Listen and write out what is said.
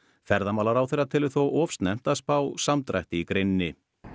ferðamálaráðherra telur þó of snemmt að spá samdrætti í greininni